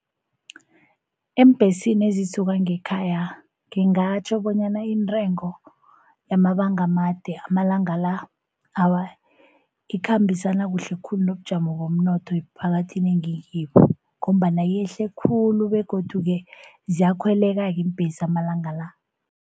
Eembhesini ezisuka ngekhaya ngingatjho bonyana intengo yamabanga amade amalanga la, awa ikhambisana kuhle khulu nobujamo bomnotho emphakathini engikibo, ngombana yehle khulu begodu-ke ziyakhweleka-ke iimbhesi amalanga la.